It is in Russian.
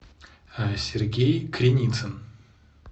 сергей криницын